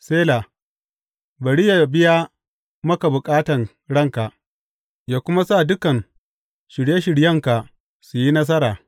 Sela Bari yă biya maka bukatan ranka yă kuma sa dukan shirye shiryenka su yi nasara.